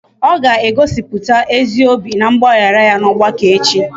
Ọ ga-egosiputa ezi obi na mgbaghara ya n'ọgbakọ echi